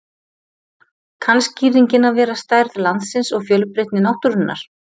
Kann skýringin að vera stærð landsins og fjölbreytni náttúrunnar.